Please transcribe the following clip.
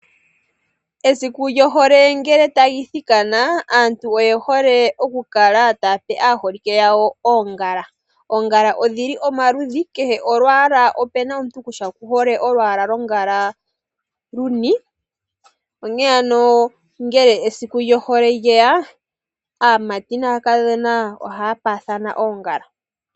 Esiku lyohole ngele tali thikana aantu oyehole okukala tayape aaholike yawo oongala. Oongala odhili omaludhi, kehe omuntu okuna kutya okuhole olwaala lwongala luni. Onkene ano ngele esiku lyohole lyeya aamati naakadhona ohaya paathana oongala.